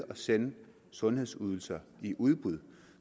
at sende sundhedsydelser i udbud